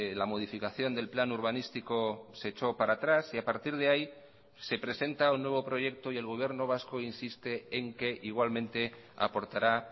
la modificación del plan urbanístico se echó para atrás y a partir de ahí se presenta un nuevo proyecto y el gobierno vasco insiste en que igualmente aportará